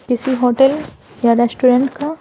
किसी होटल या रेस्टोरेंट का--